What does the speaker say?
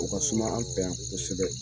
O ka suma an fɛ yan kosɛbɛ